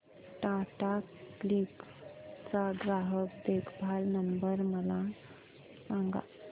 Tata CLiQ चा ग्राहक देखभाल नंबर मला सांगा